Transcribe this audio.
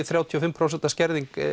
þrjátíu og fimm prósent skerðing